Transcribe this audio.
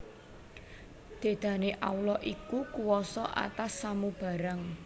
Dedane Allah iku kuwasa atas samu barang